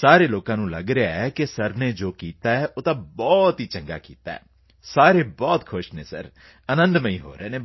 ਸਾਰੇ ਲੋਕਾਂ ਨੂੰ ਲਗ ਰਿਹਾ ਹੈ ਕਿ ਸਰ ਨੇ ਜੋ ਕੀਤਾ ਉਹ ਤਾਂ ਬਹੁਤ ਚੰਗਾ ਕੀਤਾ ਉਹ ਖੁਸ਼ ਹਨ ਸਰ ਅਨੰਦਮਈ ਹੋ ਰਹੇ ਹਨ ਸਰ